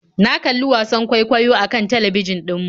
Na kalli wasan kwaikwayon akan talbijin ɗin mu